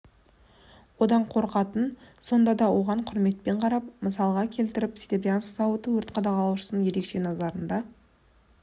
одан қорқатын сонда да оған құрметпен қарап мысалға келтіретін серебрянск зауыты өрт қадағалаушының ерекше назарында